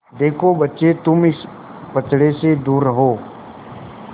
देखो बच्चे तुम इस पचड़े से दूर रहो